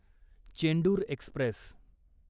Chendur Express